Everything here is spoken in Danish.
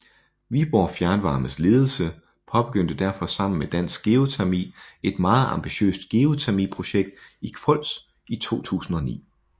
Viborg Fjernvarmes ledelse påbegyndte derfor sammen med Dansk Geotermi et meget ambitiøst geotermiprojekt i Kvols i 2009